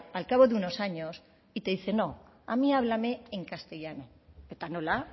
al cabo de unos años y te dice no a mí háblame en castellano eta nola